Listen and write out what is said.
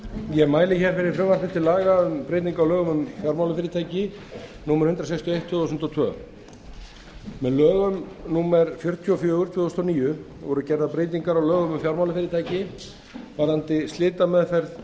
ég mæli fyrir frumvarpi til laga um breyting á lögum um fjármálafyrirtæki númer hundrað sextíu og eitt tvö þúsund og tvö með lögum númer fjörutíu og fjögur tvö þúsund og níu voru gerðar breytingar á lögum um fjármálafyrirtæki varðandi slitameðferð